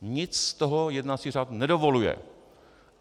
Nic z toho jednací řád nedovoluje.